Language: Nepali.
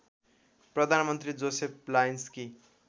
प्रधानमन्त्री जोसेफ लायन्सकी